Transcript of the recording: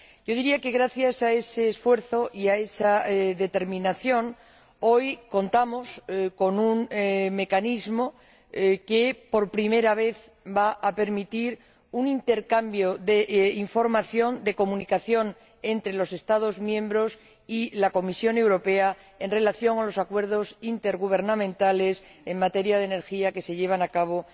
Diría que, gracias a ese esfuerzo y a esa determinación, hoy contamos con un mecanismo que, por primera vez, va a permitir un intercambio de información y de comunicación entre los Estados miembros y la Comisión Europea en relación con los acuerdos intergubernamentales en materia de energía que se llevan a cabo